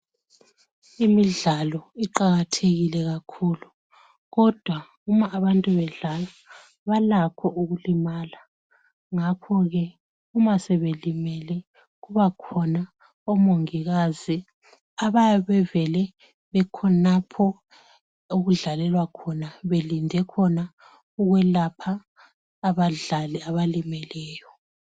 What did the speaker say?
Imidlalo iqakathekile kakhulu. Kodwa uma abantu bedlala balakho ukulimala ngakho-ke uma sebelimele kuba khona omongikazi abayabe bevele bekhonapho okudlalelwa khona belinde khona ukwelapha abadlali abalimeleyo.